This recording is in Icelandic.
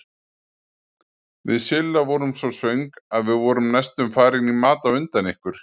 Við Silla vorum svo svöng að við vorum næstum farin í mat á undan ykkur.